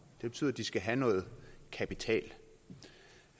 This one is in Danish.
det betyder at de skal have noget kapital